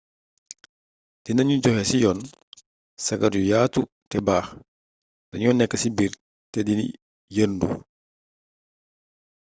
dina gnu joxe ci yoon sagar yu yaatu te baax dagno nekk ci biir te di yeerndu